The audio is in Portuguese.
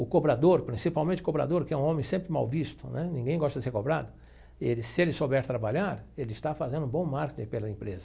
O cobrador, principalmente o cobrador, que é um homem sempre mal visto né, ninguém gosta de ser cobrado, e se ele souber trabalhar, ele está fazendo bom marketing pela empresa.